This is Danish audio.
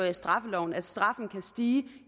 i straffeloven at straffen kan stige